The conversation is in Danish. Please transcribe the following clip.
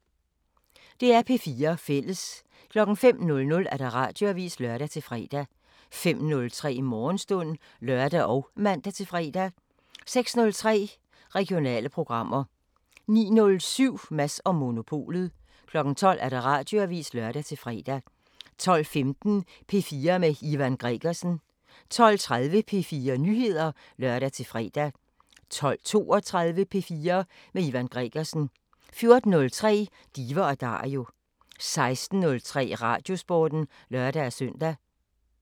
DR P4 Fælles